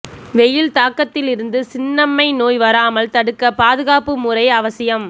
வெயில் தாக்கத்தில் இருந்து சின்னம்மை நோய் வராமல் தடுக்க பாதுகாப்பு முறை அவசியம்